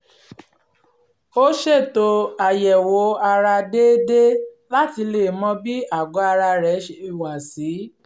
ó ṣètò àyẹ̀wò ara déédéé láti lè mọ bí àgọ́ ara rẹ̀ ṣe wà sí